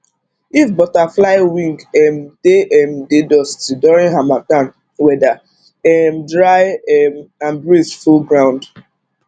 if butterfly wing um dey um dey dusty during harmattan weather um dry um and breeze full ground